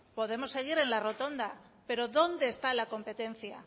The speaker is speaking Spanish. podemos seguir en la rotonda pero dónde está la competencia